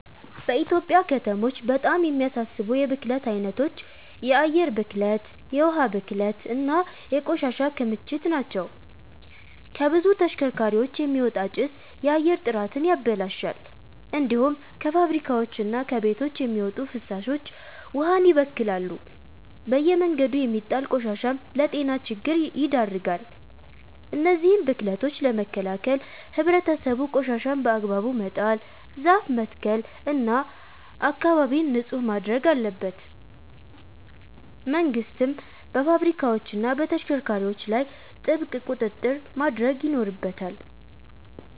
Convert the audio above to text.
በኢትዮጵያ ከተሞች በጣም የሚያሳስቡ የብክለት አይነቶች የአየር ብክለት፣ የውሃ ብክለት እና የቆሻሻ ክምችት ናቸው። ከብዙ ተሽከርካሪዎች የሚወጣ ጭስ የአየር ጥራትን ያበላሻል። እንዲሁም ከፋብሪካዎችና ከቤቶች የሚወጡ ፍሳሾች ውሃን ይበክላሉ። በየመንገዱ የሚጣል ቆሻሻም ለጤና ችግር ይዳርጋል። እነዚህን ብክለቶች ለመከላከል ህብረተሰቡ ቆሻሻን በአግባቡ መጣል፣ ዛፍ መትከል እና አካባቢን ንጹህ ማድረግ አለበት። መንግስትም በፋብሪካዎችና በተሽከርካሪዎች ላይ ጥብቅ ቁጥጥር ማድረግ ይኖርበታል።